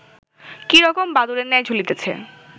কী রকম বাদুড়ের ন্যায় ঝুলিতেছে